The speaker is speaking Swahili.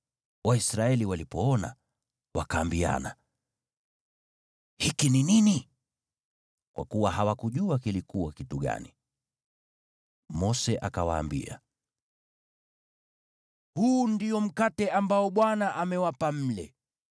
Waisraeli walipoona, wakaambiana, “Hiki ni nini?” Kwa kuwa hawakujua kilikuwa kitu gani. Mose akawaambia, “Huu ndio mkate ambao Bwana amewapa mle.